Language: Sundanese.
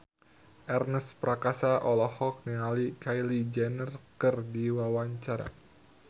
Ernest Prakasa olohok ningali Kylie Jenner keur diwawancara